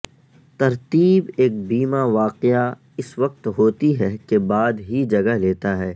ترتیب ایک بیمہ واقعہ اس وقت ہوتی ہے کے بعد ہی جگہ لیتا ہے